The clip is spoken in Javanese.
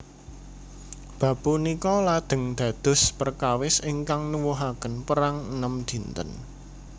Bab punika lajeng dados perkawis ingkang nuwuhaken Perang Enem Dinten